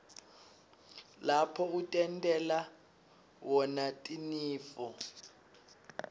lapho utentela wna tinifo